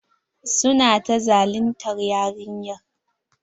Su na ta zaluntar yarinyar.